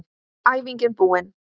Æfingin búin!